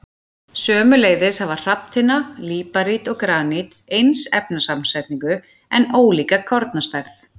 Sömuleiðis hafa hrafntinna, líparít og granít eins efnasamsetning en ólíka kornastærð.